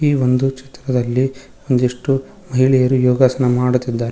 ಈ ಒಂದು ಚಿತ್ರದಲ್ಲಿ ಒಂದಿಷ್ಟು ಮಹಿಳೆಯರು ಯೋಗಾಸನ ಮಾಡುತ್ತಿದ್ದಾರೆ.